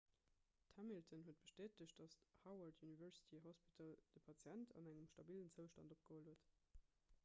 d'hamilton huet bestätegt datt d'howard university hospital de patient an engem stabillen zoustand opgeholl huet